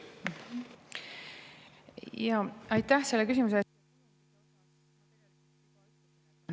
Aitäh selle küsimuse eest!